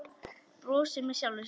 Brosir með sjálfri sér.